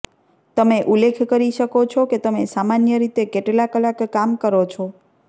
તમે ઉલ્લેખ કરી શકો છો કે તમે સામાન્ય રીતે કેટલા કલાક કામ કરો છો